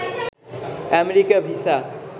America visa